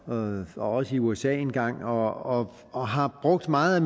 og også i usa engang og og har brugt meget